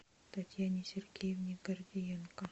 татьяне сергеевне гордиенко